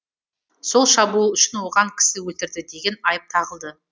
сол шабуыл үшін оған кісі өлтірді деген айып тағылды